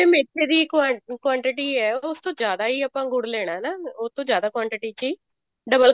ਮੇਥੇ ਦੀ quantity ਆ ਉਸ ਤੋਂ ਜਿਆਦਾ ਹੀ ਆਪਾਂ ਗੁੜ ਲੈਣਾ ਨਾ ਉਹਤੋਂ ਜਿਆਦਾ quantity ਚ ਹੀ double